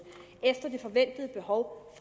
efter det forventede behov